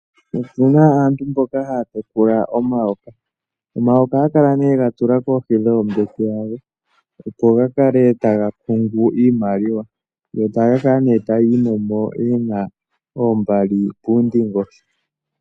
Opuna aantu mboka haya tekula omayoka. Omayoka oha kala yega tula koohi dhoombete dhawo. Go gakale taga kungu iimaliwa. Yo taya kakala nee tayi inomo yena oombali puundingosho.